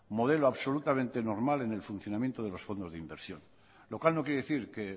modelo absolutamente normal en el funcionamiento de los fondos de inversión lo cual no quiere decir que